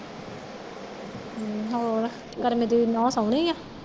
ਹਮਮ ਹੋਰ ਧਰਮੇ ਦੀ ਨੂੰਹ ਸੋਹਣੀ ਹੈ